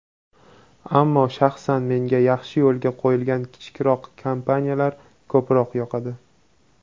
ammo shaxsan menga yaxshi yo‘lga qo‘yilgan kichikroq kompaniyalar ko‘proq yoqadi.